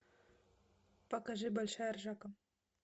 покажи большая ржака